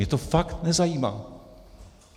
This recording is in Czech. Mě to fakt nezajímá.